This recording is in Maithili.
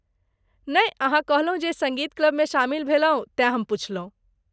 नहि, अहाँ कहलहुँ जे सङ्गीत क्लबमे शामिल भेलहुँ, तेँ हम पुछलहुँ।